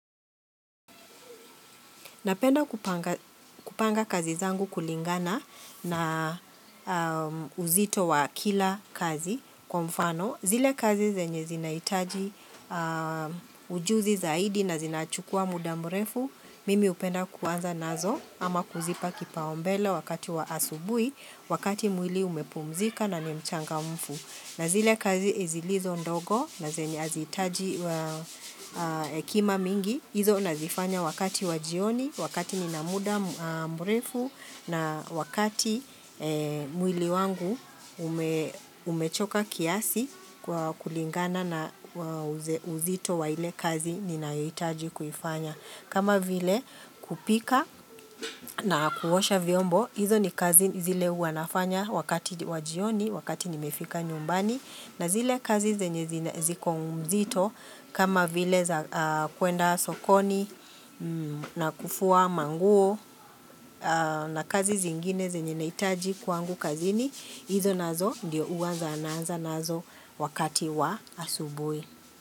Napenda kupanga kupanga kazi zangu kulingana na uzito wa kila kazi kwa mfano zile kazi zenye zinahitaji ujuzi zaidi na zinachukua muda mrefu Mimi hupenda kuanza nazo ama kuzipa kipaumbele wakati wa asubuhi, wakati mwili umepumzika na ni mchangamfu. Na zile kazi zilizo ndogo na zenye hazihitaji hekima mingi, hizo nazifanya wakati wa jioni, wakati nina muda mrefu na wakati mwili wangu umechoka kiasi kwa kulingana na uzito wa ile kazi ninayohitaji kuifanya. Kama vile kupika na kuosha vyombo, hizo ni kazi zile huwa nafanya wakati wa jioni, wakati nimefika nyumbani. Na zile kazi zenye ziko mzito, kama vile za kuenda sokoni na kufua manguo na kazi zingine zenye nahitaji kwangu kazini, hizo nazo ndio huwa naanza nazo wakati wa asubuhi.